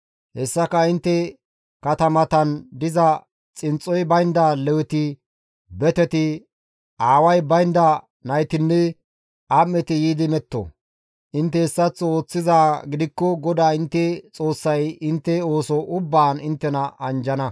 Hessaka intte katamatan diza xinxxoy baynda Leweti, beteti, aaway baynda naytinne am7eti yiidi meto; intte hessaththo ooththizaa gidikko GODAA intte Xoossay intte ooso ubbaan inttena anjjana.